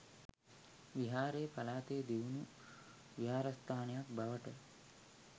විහාරය පළාතේ දියුණු විහාරස්ථානයක් බවට